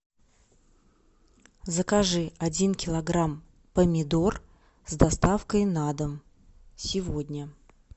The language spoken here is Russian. закажи один килограмм помидор с доставкой на дом сегодня